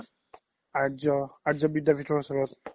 আৰ্জ্যো বিদ্যাবিধৰ ওচৰত